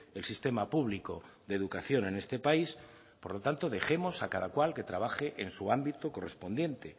el sistema público de educación en este país por lo tanto dejemos a cada cual que trabaje en su ámbito correspondiente